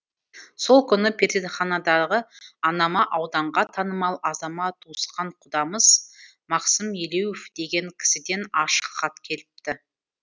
сол күні перзентханадағы анама ауданға танымал азамат туысқан құдамыз мақсым елеуов деген кісіден ашық хат келіпті